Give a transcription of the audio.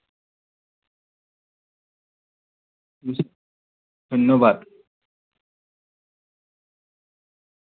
ধন্যবাদ।